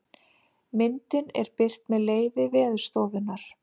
myndin er birt með leyfi veðurstofunnar